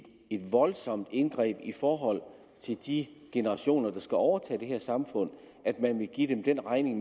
voldsomt indgreb i forhold til de generationer der skal overtage det her samfund at man vil give dem den regning